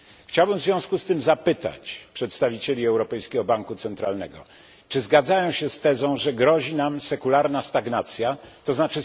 Chciałbym w związku z tym zapytać przedstawicieli Europejskiego Banku Centralnego czy zgadzają się z tezą, że grozi nam sekularna stagnacja, tzn.